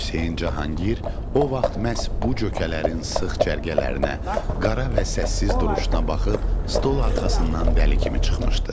Hüseyn Cahangir o vaxt məhz bu cökələrin sıx cərgələrinə, qara və səssiz duruşuna baxıb stol arxasından dəli kimi çıxmışdı.